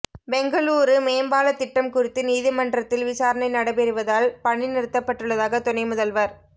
பெங்களூரு மேம்பால திட்டம் குறித்து நீதிமன்றத்தில் விசாரணை நடைபெறுவதால் பணி நிறுத்தப்பட்டுள்ளதாக துணை முதல்வா்